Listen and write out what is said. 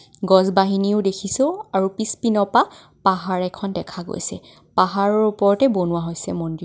গছ বহিনিও দেখিছোঁ আৰু পিছ পিনৰ পা পাহাৰ এখন দেখা গৈছে. পাহাৰৰ ওপৰতে বনোৱা হৈছে মন্দিৰ.